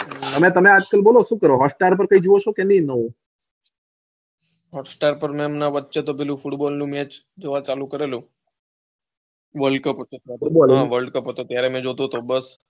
આજ કલ તમે સુ કરો ચો hotstar માં કૈક જોવો છે કે નાઈ નવું hostar પર હમણાં તો વચ્ચે પેલું football ની match જોવાની ચાલુ કરેલું world cup હતો ત્યારે જોતો હતો હા world cup હતો ત્યારે જોતો હતો.